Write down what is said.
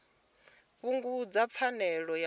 fhungudza pfanelo ya muthu ya